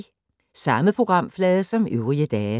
Samme programflade som øvrige dage